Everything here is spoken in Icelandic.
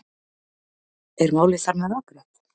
Er málið þar með afgreitt?